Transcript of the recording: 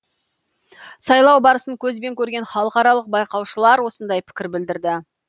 сайлау барысын көзбен көрген халықаралық байқаушылар осындай пікір білдірді